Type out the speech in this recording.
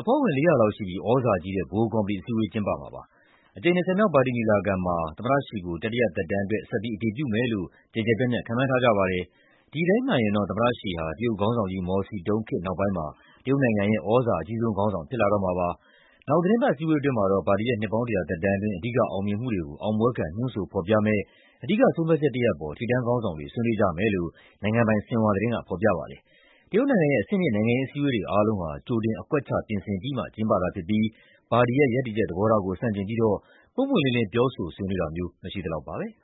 အဖွဲ့ဝင် ၄၀၀ လောက်ရှိပြီး သြဇာကြီးတဲ့ ဗဟိုကော်မတီ အစည်းအဝေး ကျင်းပမှာ ဖြစ်ပါတယ်။ အကြိမ် ၂၀ မြောက် ပါတီညီလာခံမှာ သမ္မတ Xi ကို တတိယသက်တမ်းအတွက် ဆက်ပြီး အတည်ပြုမယ်လို့ ကျယ်ကျယ်ပြန့်ပြန့် ခန့်မှန်းထားကြပါတယ်။ ဒီအတိုင်းမှန်ရင်တော့ သမ္မတ Xi ဟာ တရုတ်ခေါင်းဆောင်ကြီး မော်စီတုန်း နောက်ပိုင်းမှာ တရုတ်နိုင်ငံရဲ့ သြဇာအကြီးဆုံးခေါင်းဆောင် ဖြစ်လာတော့မှာပါ။ နောက်သီတင်းပတ် အစည်းအဝေး အတွင်းမှာတော့ ပါတီရဲ့ နှစ်ပေါင်း ၁၀၀ သက်တမ်းအတွင်း အဓိကအောင်မြင်မှုတွေကို အောင်ပွဲခံ ညွှန်းဆိုဖော်ပြမယ့် အဓိကဆုံးဖြတ်ချက်တရပ်အပေါ် ထိပ်တန်းခေါင်းဆောင်တွေ ဆွေးနွေးကြမယ်လို့ နိုင်ငံပိုင် ဆင်ဟွာသတင်းက ဖော်ပြပါတယ်။ တရုတ်နိုင်ငံရဲ့ အဆင့်မြင့် နိုင်ငံရေးအစည်းအဝေးတွေ အားလုံးဟာ ကြိုတင် အကွက်ချ ပြင်ဆင်ပြီးမှ ကျင်းပတာဖြစ်ပြီး ပါတီရဲ့ရပ်တည်ချက် သဘောထားကို ဆန့်ကျင်ပြီးတော့ ပွင့်ပွင့်လင်းလင်း ပြောဆိုဆွေးနွေးတာမျိုး မရှိသလောက်ပါပဲ။